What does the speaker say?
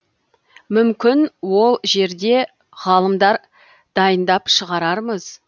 мүмкін ол жерде ғалымдар дайындап шығарармыз